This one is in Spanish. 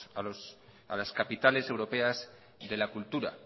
a las capitales europeas de la cultura